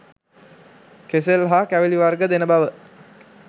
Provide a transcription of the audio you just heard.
කෙසෙල් හා කැවිළි වර්ග දෙන බව